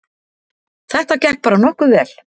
Þetta gekk bara nokkuð vel